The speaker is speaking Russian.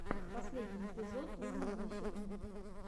последний эпизод луномосика